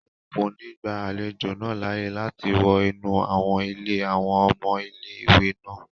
Wọn kò ní gba àlejò náà láàyè láti wọ inú àwọn ilé àwọn ọmọ ilé-ìwé náà